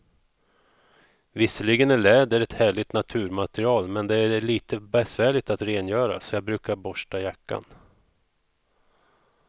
Visserligen är läder ett härligt naturmaterial, men det är lite besvärligt att rengöra, så jag brukar borsta jackan.